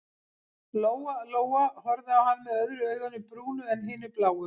Lóa-Lóa horfði á hann með öðru auganu brúnu en hinu bláu.